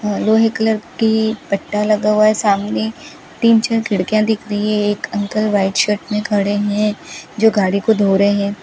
लोहे कलर की पट्टा लगा हुआ है सामने तीन चार खिड़कियां दिख रही हैं एक अंकल व्हाइट शर्ट में खड़े हैं जो गाड़ी को धो रहे हैं।